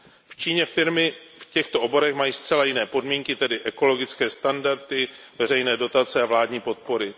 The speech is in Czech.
V Číně firmy v těchto oborech mají zcela jiné podmínky, tedy ekologické standardy, veřejné dotace a vládní podpory.